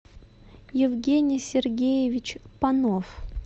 евгений сергеевич панов